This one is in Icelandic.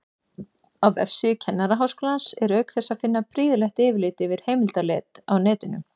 Á vefsíðu Kennaraháskólans er auk þess að finna prýðilegt yfirlit yfir heimildaleit á netinu.